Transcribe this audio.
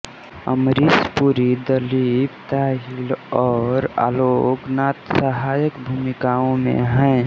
अमरीश पुरी दलीप ताहिल और आलोक नाथ सहायक भूमिकाओं में हैं